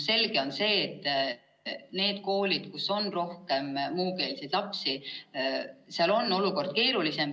Selge on see, et neis koolides, kus on rohkem muukeelseid lapsi, on olukord keerulisem.